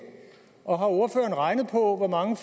og har ordføreren regnet på hvor mange